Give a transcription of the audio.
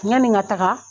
Yani n ka taga